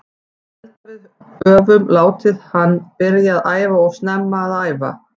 Ég held að við öfum látið hann byrja að æfa of snemma að æfa.